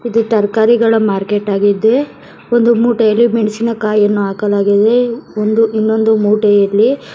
ಇದು ತರಕಾರಿಗಳ ಮಾರ್ಕೆಟ್ ಆಗಿದೆ ಒಂದು ಮೂಟೆಯಲ್ಲಿ ಮೆಣಸಿನ ಕಾಯನ್ನು ಹಾಕಲಾಗಿದೆ ಒಂದು ಇನ್ನೊಂದು ಮೋಟೆಯಲ್ಲಿ--